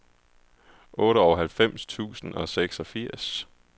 otteoghalvfems tusind og seksogfirs